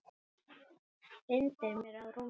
Hrindir mér á rúmið.